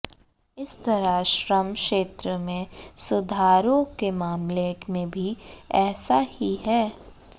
इसी तरह श्रम क्षेत्र में सुधारों के मामले में भी ऐसा ही है